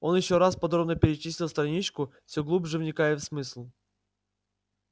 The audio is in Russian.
он ещё раз подробно перечитал страничку всё глубже вникая в смысл